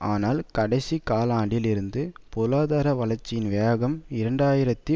ஆனால் கடைசி காலாண்டில் இருந்து பொருளாதார வளர்ச்சியின் வேகம் இரண்டு ஆயிரத்தி